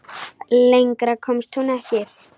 Lengra komst hún ekki.